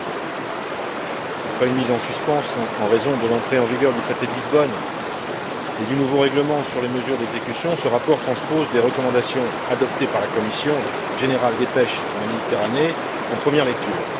2009. Après une mise en suspens en raison de l'entrée en vigueur du traité de Lisbonne et du nouveau règlement sur les mesures d'exécution, ce rapport transpose des recommandations adoptées par la Commission générale des pêches pour la Méditerranée, en première lecture.